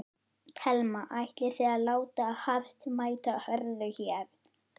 Telma: Ætlið þið að láta hart mæta hörðu hér?